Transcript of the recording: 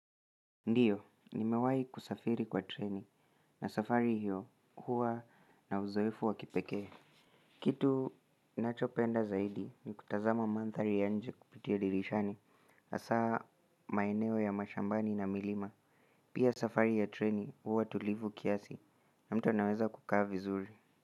Ndiyo nimewahi kusafiri kwa treni na safari hiyo huwa na uzoefu wa kipekee Kitu nachopenda zaidi ni kutazama mandhari ya nje kupitia dirishani hasaa maeneo ya mashambani na milima. Pia safari ya treni huwa tulivu kiasi na mtu anaweza kukaa vizuri.